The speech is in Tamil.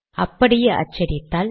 அப்படியே அச்சடித்தால்